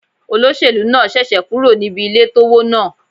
Olóṣèlú náà ṣẹ̀ṣẹ̀ kúrò níbi ilé tó wó náà.